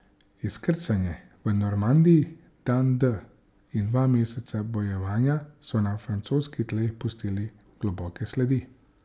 Izkrcanje v Normandiji, dan D in dva meseca bojevanja so na francoskih tleh pustili globoke sledi.